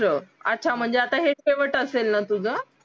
याचा महाजन आता हे शेवट असेल ना तुझं